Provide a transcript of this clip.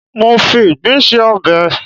mo fi Igbin se obe mi